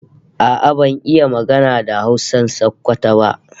A'a ban iya magana da Hausan Sokoto ba